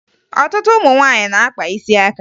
Ọtụtụ ụmụ nwaanyị na-akpa isi aka